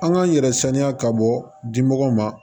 An k'an yɛrɛ saniya ka bɔ dimɔgɔw ma